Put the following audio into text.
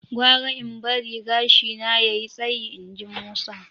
"Gwara in barin gashina ya yi tsayi" inji Musa.